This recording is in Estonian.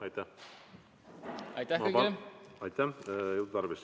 Aitäh!